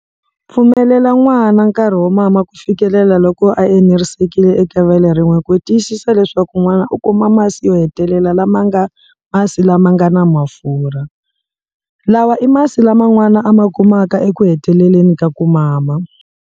Pfumelela n'wana nkarhi wo mama ku fikelela loko a enerisekile eka vele rin'we ku tiyisisa leswaku n'wana u kuma masi yo hetelela lama ma nga masi lama nga na mafurha, lawa i masi lama n'wana a ma kumaka ekuheteleleni ka ku mama.